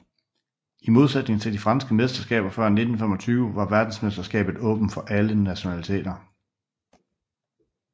I modsætning til de franske mesterskaber før 1925 var verdensmesterskabet åbent for alle nationaliteter